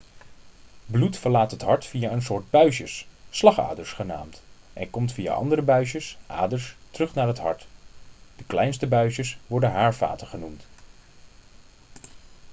bloed verlaat het hart via een soort buisjes slagaders genaamd en komt via andere buisjes aders terug naar het hart de kleinste buisjes worden haarvaten genoemd